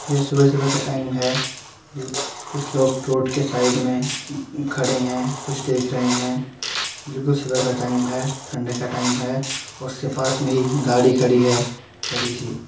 ये सुबह-सुबह का टाइम है खुच लोग रोड के साइड में खड़े हैं। कुछ देख रहे हैंबिलकुल सुबह का टाइम है ठंड का टाईम है और उसके पास में एक गाड़ी खड़ी है बड़ी सी।